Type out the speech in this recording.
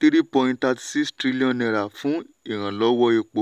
three point thirty six trillion naira fún ìrànlọ́wọ́ epo.